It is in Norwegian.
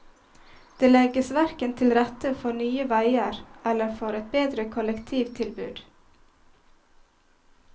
Det legges hverken til rette for nye veier eller for et bedre kollektivtilbud.